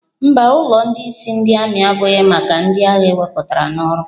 Mba, ulọ ndị ịsị ami abụghị maka ndị agha ewepụtara n'ọrụ.